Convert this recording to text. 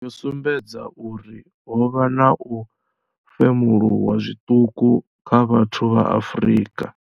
Yo sumbedza uri ho vha na u femuluwa zwiṱuku kha vhathu vha Afrika.